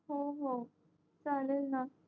होहो चालेलना